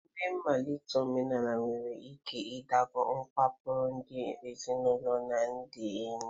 Ememe mmalite omenala nwere ike iduga kewapụrụ ndị ezinụlọ na ndị enyi